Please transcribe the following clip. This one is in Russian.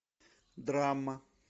драма